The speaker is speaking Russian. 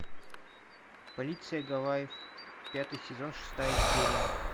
полиция гавайев пятый сезон шестая серия